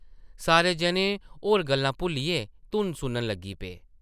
सारे जने होर गल्लां भुल्लियै धुन सुनन लगी पे ।